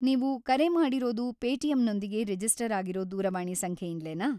ನೀವು ಕರೆ ಮಾಡಿರೋದು ಪೇಟಿಎಮ್‌ನೊಂದಿಗೆ ರಿಜಿಸ್ಟರ್‌ ಆಗಿರೋ ದೂರವಾಣಿ ಸಂಖ್ಯೆಯಿಂದ್ಲೇನಾ?